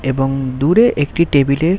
এবং দূরে একটি টেবিল এ।